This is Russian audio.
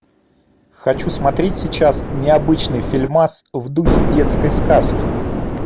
хочу смотреть сейчас необычный фильмас в духе детской сказки